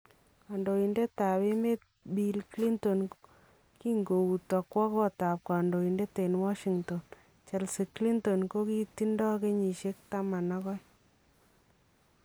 Kandoindetab emet Bill Clinton kinkouuto kwo kootab kandoindet en Washington, Chelsea Clinton kokitindo kenyisiek 12